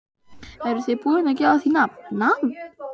Eruð þið búin að gefa því nafn, nafn?